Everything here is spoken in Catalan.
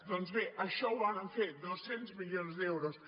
doncs bé això ho vàrem fer dos cents milions d’euros